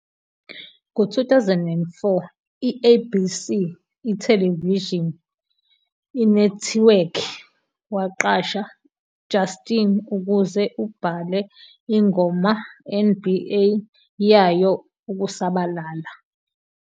Ngo-2004, i-ABC ithelevishini inethiwekhi waqasha Justin ukuze ubhale ingoma NBA yayo Ukusabalala.